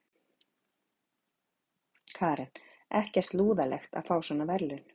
Karen: Ekkert lúðalegt að fá svona verðlaun?